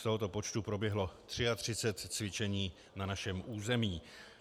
Z tohoto počtu proběhlo 33 cvičení na našem území.